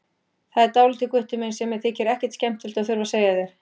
Það er dálítið, Gutti minn, sem mér þykir ekkert skemmtilegt að þurfa að segja þér.